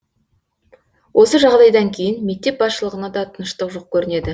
осы жағдайдан кейін мектеп басшылығына да тыныштық жоқ көрінеді